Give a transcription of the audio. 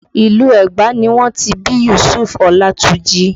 Ìlú Ẹgba ni wọ́n ti bí Yusufu Olatunji